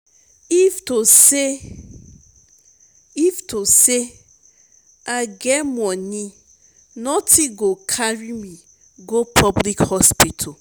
if to say if to say i get money nothing go carry me go public hospital